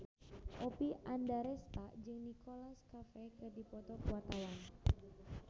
Oppie Andaresta jeung Nicholas Cafe keur dipoto ku wartawan